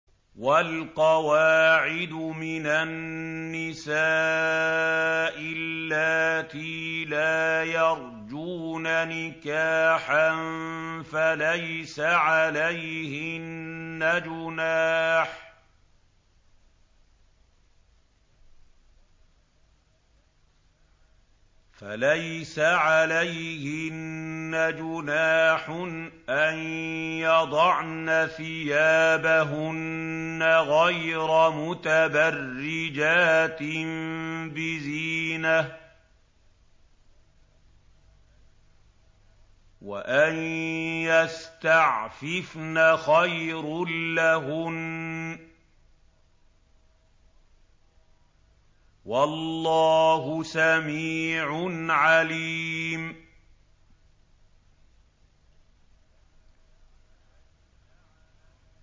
وَالْقَوَاعِدُ مِنَ النِّسَاءِ اللَّاتِي لَا يَرْجُونَ نِكَاحًا فَلَيْسَ عَلَيْهِنَّ جُنَاحٌ أَن يَضَعْنَ ثِيَابَهُنَّ غَيْرَ مُتَبَرِّجَاتٍ بِزِينَةٍ ۖ وَأَن يَسْتَعْفِفْنَ خَيْرٌ لَّهُنَّ ۗ وَاللَّهُ سَمِيعٌ عَلِيمٌ